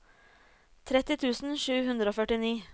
tretti tusen sju hundre og førtini